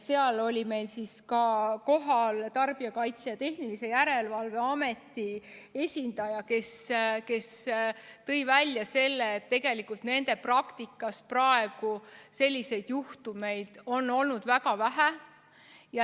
Seal oli kohal ka Tarbijakaitse ja Tehnilise Järelevalve Ameti esindaja, kes tõi välja selle, et tegelikult on praegu nende praktikas selliseid juhtumeid olnud väga vähe.